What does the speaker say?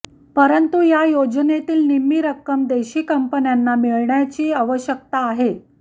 परंतु या योजनेतील निम्मी रक्कम देशी कंपन्यांना मिळण्याची आवश्यकता आहे